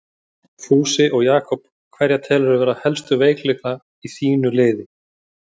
Fúsi og Jakob Hverja telurðu vera helstu veikleika í þínu liði?